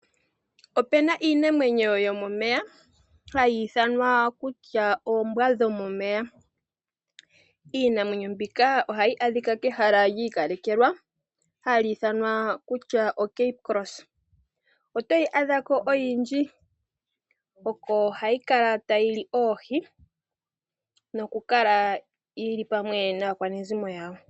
Opu na iinamwenyo yomomeya hayi ithanwa kutya oombwa dhomomeya. Iinamwenyo mbika ohayi adhika kehala lyi ikalekelwa hali ithanwa kutya oCape Cross. Otoyi adha ko oyindji. Oko hayi kala tayi li oohi yi li pamwe naakwanezimo lyawo.